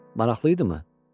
Maraqlıydıımı?